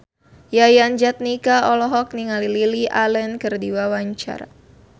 Yayan Jatnika olohok ningali Lily Allen keur diwawancara